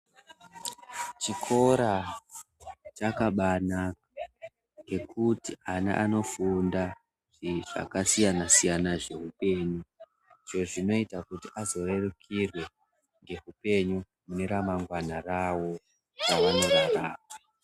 Chikora chakabanaka ngekuti ama anobafunda zvakasiyana siyana zvehupenyu kuti vazorerukirwe ngehupenyu mune ramangwana ravo ravanenge vava.